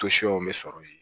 bɛ sɔrɔ yen